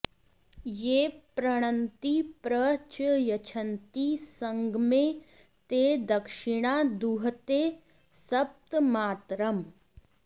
ये पृणन्ति प्र च यच्छन्ति संगमे ते दक्षिणां दुहते सप्तमातरम्